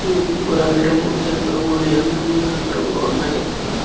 ఉమ్ గులాబీ రంగు తెలుపు రంగు నిలం రంగు నలుపు రంగు వున్నాయ్ ఎక్కువ.